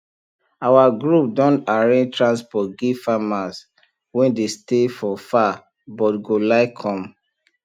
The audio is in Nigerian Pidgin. our group don arrange transport give farmer wey dey stay for far but go like come